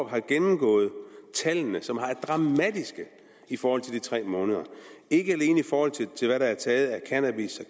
har gennemgået tallene som er dramatiske i forhold til de tre måneder ikke alene i forhold til hvad der er taget af cannabis